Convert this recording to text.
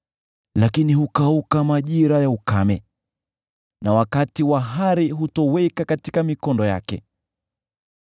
lakini hukauka majira ya ukame, na wakati wa hari hutoweka katika mikondo yake.